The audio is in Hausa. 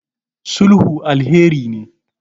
sulhu alheri ne